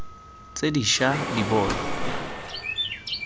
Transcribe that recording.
tse di ša di bonwa